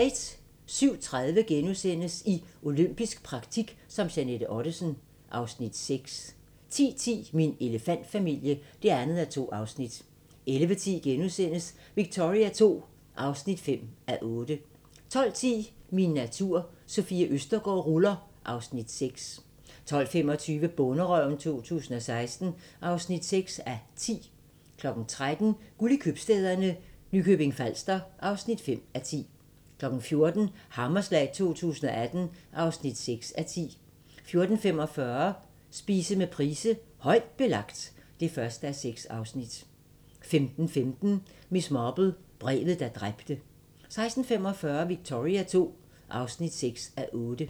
07:30: I olympisk praktik som Jeanette Ottesen (Afs. 6)* 10:10: Min elefantfamilie (2:2) 11:10: Victoria II (5:8)* 12:10: Min natur - Sofie Østergaard ruller (Afs. 6) 12:25: Bonderøven 2016 (6:10) 13:00: Guld i købstæderne – Nykøbing Falster (5:10) 14:00: Hammerslag 2018 (6:10) 14:45: Spise med Price: "Højt Belagt" (1:6) 15:15: Miss Marple: Brevet, der dræbte 16:45: Victoria II (6:8)